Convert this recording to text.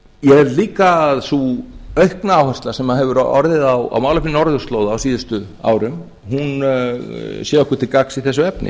held líka að sú aukna áhersla sem hefur orðið á málefnum norðurslóða á síðustu árum hún sé okkur til gagns í þessu efni